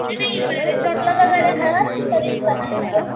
नाही नाही रिसॉर्ट ला करणारे हळद कि घरीच करणारे हळद?